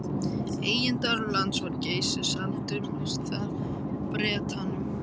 Eigendur lands við Geysi seldu það Bretanum